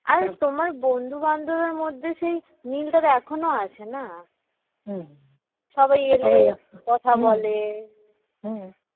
আর তোমার সেই বন্ধু-বান্ধবের মধ্যে সেই মিল টা এখনো আছে না সবাই এলে কথা বলে